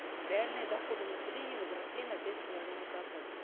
реальные доходы населения возросли на пять с половиной процентов